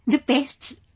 the pests etc